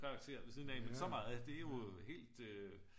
Karakterer ved siden af men så meget det er jo helt øh